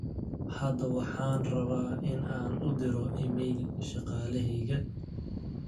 hada waxaan rabaa in aan u diro iimayl shaqaleheyga